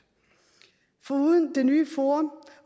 foruden det nye forum